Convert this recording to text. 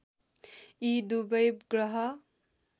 यी दुबै ग्रह